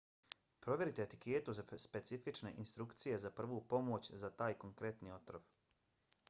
provjerite etiketu za specifične instrukcije za prvu pomoć za taj konkretni otrov